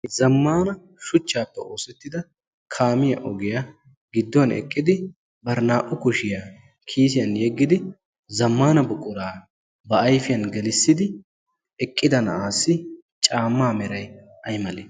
Zammaana shuchchaappe oosettida kaamiya ogiya gidduwan eqqidi bari naa"u kushiya kiisiyan yeddidi zammaana buquraa ba ayfiyan gelissidi eqqida na"aassi caammaa merayi ay malee?